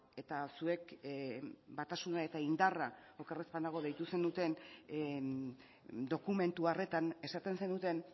eta zuek batasuna eta indarra oker ez badago deitu zenuten dokumentu horretan esaten zenuten